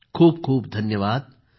खूप खूप धन्यवाद